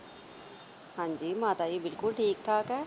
ਹਾਂਜੀ ਮਾਤਾ ਜੀ ਬਿਲਕੁਲ ਠੀਕ-ਠਾਕ ਐ।